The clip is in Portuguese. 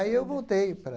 Aí eu voltei para...